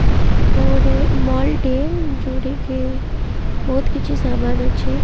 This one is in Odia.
ଏଟା ଗୋଟେ ମଲ୍ ଟିଏ ଯୋଉଠିକି ବହୁତ୍ କିଛି ସାମାନ୍ ଅଛି।